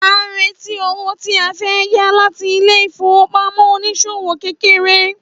À ń retí owó tí a fẹ́ yá láti ilé ìfowópamọ́ oníṣòwò kéékèèké